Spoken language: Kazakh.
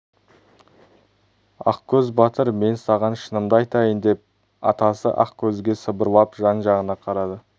ақкөз батыр мен саған шынымды айтайын деп атасы ақкөзге сыбырлап жан-жағына қарады